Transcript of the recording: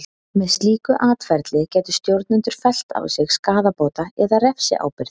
Með slíku atferli gætu stjórnendur fellt á sig skaðabóta- eða refsiábyrgð.